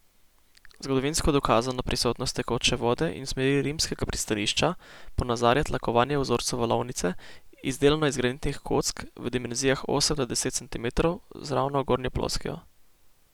Zgodovinsko dokazano prisotnost tekoče vode in smeri rimskega pristanišča ponazarja tlakovanje v vzorcu valovnice, izdelano iz granitnih kock v dimenzijah osem do deset centimetrov z ravno gornjo ploskvijo.